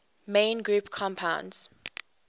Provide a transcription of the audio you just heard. main group compounds